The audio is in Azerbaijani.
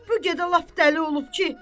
Bu gecə lap dəli olub ki?